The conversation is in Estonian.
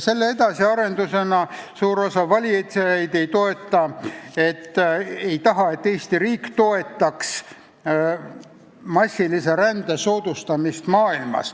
Selle edasiarendusena suur osa valijaid ei taha, et Eesti riik toetaks massilise rände soodustamist maailmas.